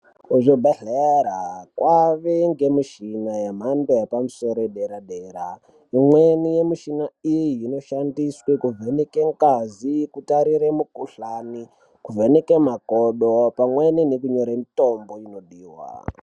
Kuzvibhehlera kwane michini inoshandiswa kuvheneka vakadzi, magodo uye kuvheneka mitombo inozodiwa pazvitenda zvaoneka.